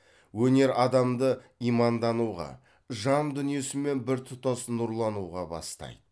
өнер адамды имандануға жан дүниесімен біртұтас нұрлануға бастайды